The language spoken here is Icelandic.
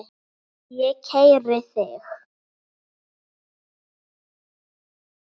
Ég keyri þig!